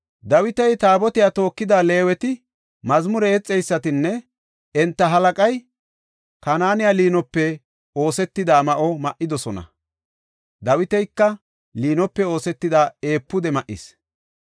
Dawiti, Taabotiya tookida Leeweti, mazmure yexeysatinne enta halaqay Kanaaney liinope oosetida ma7o ma7idosona. Dawitika liinope oosetida efuude ma7is.